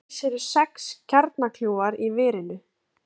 Alls eru sex kjarnakljúfar í verinu